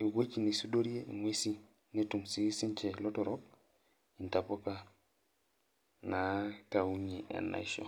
eweji naisudorie inguesi netum sii ninche lotorrok ntapuka naa naitaunye enaisho.